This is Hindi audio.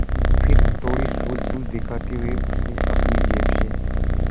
लेकिन फिर थोड़ी सूझबूझ दिखाते हुए उसने अपनी जेब से